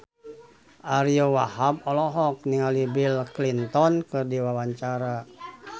Ariyo Wahab olohok ningali Bill Clinton keur diwawancara